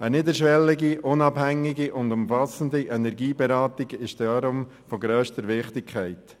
Eine niederschwellige, unabhängige und umfassende Energieberatung ist darum von grösster Wichtigkeit.